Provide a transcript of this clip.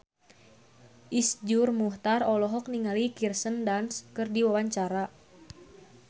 Iszur Muchtar olohok ningali Kirsten Dunst keur diwawancara